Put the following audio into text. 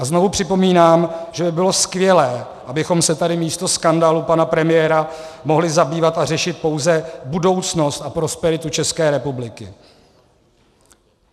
A znovu připomínám, že by bylo skvělé, abychom se tady místo skandálů pana premiéra mohli zabývat a řešit pouze budoucnost a prosperitu České republiky.